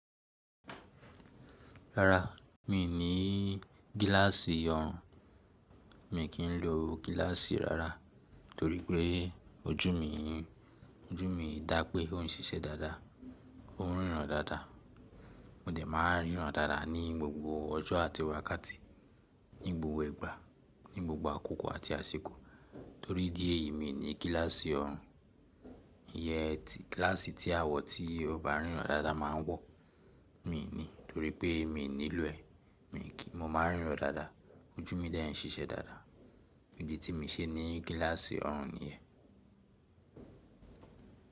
Rárá, mi ò ní gíláàsì ọrùn, mi kì ń lo gíláàsì rárá torí pé ojú mi, ojú mi dá pé ó ń ṣiṣẹ́ dáadáa, ó ń ríran dáadáa. Mo dẹ̀ máa ń ríran dáadáa ní gbogbo ọjọ́ àti wákàtí, ní gbogbo ìgbà, ní gbogbo àkókò àti àsìkò. Torí idí èyí mi ní gíláàsì ọrùn. Iyẹn ti gíláàsì tí àwọn tí ọ ba ríran ráaráa máa ń wọ̀, mi ò ní torí pé mi ò nílò ẹ. Mo máa ń ríran dáadáa, ojú mi dẹ̀ ń ṣiṣẹ́ dáadáa, ìdí tí mi ṣe ní gíláàsì ọrùn ni ẹ.